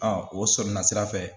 o sɔnna sira fɛ